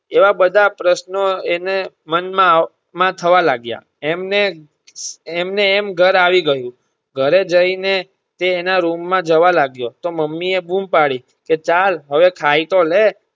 એવા બધા પ્રશ્નો એને મન માં થવા લાગ્યા એમ ને એમ ઘર આવી ગયું ઘરે જઈ ને એ એના room માં જવા લાગ્યો ત્યાં મમ્મી એ બૂમ પડી કે ચાલ હવે ખાય તો લે